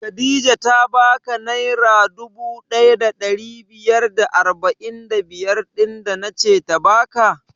Khadijah ta ba ka naira dubu ɗaya da ɗari biyar da arba'in da biyar ɗin da nace ta baka?